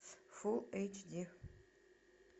фул эйч ди